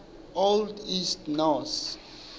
old east norse